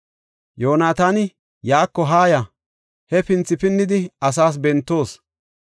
Yoonataani, “Yaako haaya; hefinthi pinnidi asaas bentoos.